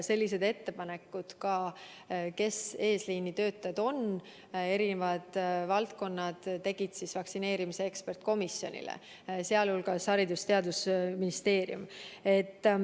Ettepanekud selle kohta, kes on eesliinitöötajad, tegid eri valdkonnad vaktsineerimise eksperdikomisjonile, teiste hulgas Haridus- ja Teadusministeerium.